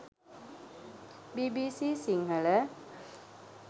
bbc sinhala